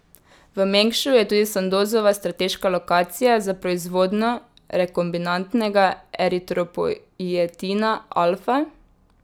V Mengšu je tudi Sandozova strateška lokacija za proizvodnjo rekombinantnega eritropoietina alfa.